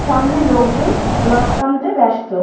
সামনে লোকজন রথ টানতে ব্যস্ত।